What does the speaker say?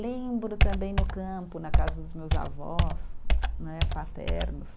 Lembro também no campo, na casa dos meus avós, né, paternos,